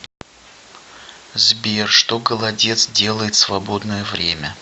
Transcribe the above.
сбер что голодец делает в свободное время